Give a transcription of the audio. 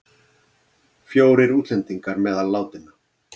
Fjórir útlendingar meðal látinna